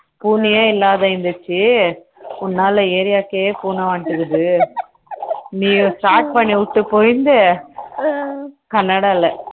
பூனையே இல்லாம இருந்துச்சு உன்னால area க்கே பூனை வந்துடுது நீயே start பண்ணி விட்டு போயிட்டு கன்னடால